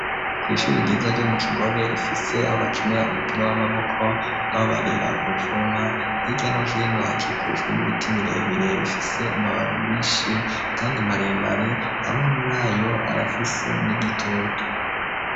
Kwishuri ryiza ryo mu Kigobe rifise aho bakinira umupira w'amaboko nabo barira uruvuma, hirya no hino hakikujwe n'ibiti birebire bifise amababi menshi kandi maremare amwe murayo arafise n'igitutu.